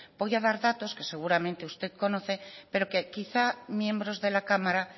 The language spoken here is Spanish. voy a dar datos que seguramente usted conoce pero que quizá miembros de la cámara